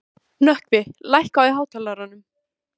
Nökkvi, lækkaðu í hátalaranum.